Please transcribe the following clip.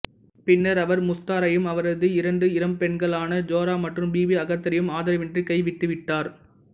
பின்னா் அவா் முஸ்தாரையும் அவரது இரண்டு இளம் பெண்களான ஜோரா மற்றும் பிபி அக்தரையும் ஆதரவின்றி கைவிட்டுவிட்டாா்